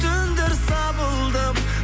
түндер сабылдым